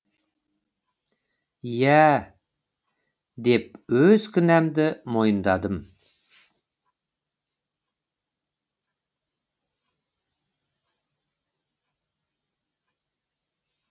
иә деп өз кінәмді мойындадым